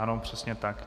Ano, přesně tak.